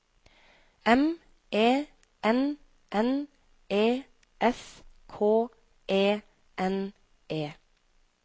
M E N N E S K E N E